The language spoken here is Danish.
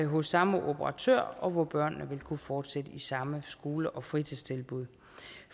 hos samme operatør og hvor børnene vil kunne fortsætte i samme skole og fritidstilbud